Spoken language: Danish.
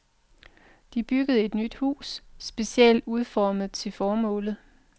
De byggede et nyt hus, specielt udformet til formålet.